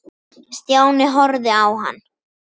Stjáni horfði á hann.